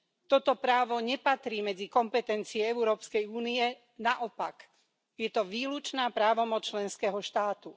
Toto právo nepatrí medzi kompetencie Európskej únie, naopak je to výlučná právomoc členského štátu.